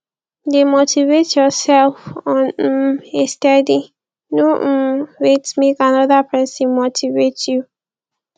de motivate yourself on um a steady no um wait make another persin motivate you